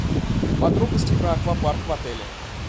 подробности про аквапарк в отеле